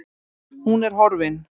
Hún er horfin